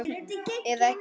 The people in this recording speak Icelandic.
Eða ekki!